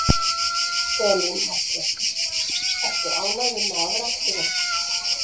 Elín Margrét: Ertu ánægður með afraksturinn?